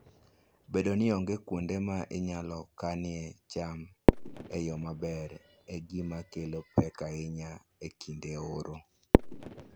Bedo ni onge kuonde ma inyalo kanoe cham e yo maber, en gima kelo pek ahinya e kinde oro.